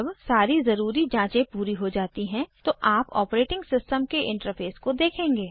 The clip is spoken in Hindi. जब सारी ज़रूरी जाँचें पूरी हो जाती हैं तो आप ऑपरेटिंग सिस्टम के इंटरफ़ेस को देखेंगे